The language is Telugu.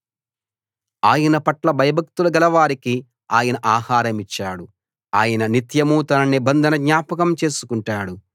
తన పట్ల భయభక్తులు గలవారికి ఆయన ఆహారమిచ్చాడు ఆయన నిత్యం తన నిబంధన జ్ఞాపకం చేసుకుంటాడు